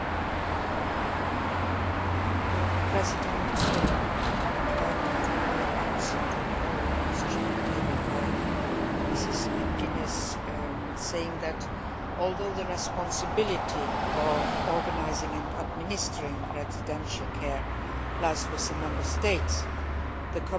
I would like to answer the oral question tabled by Mrs McGuinness by saying that, although the responsibility of organising and administering residential care lies with Member States, the Commission is keen to promote the right of people with disabilities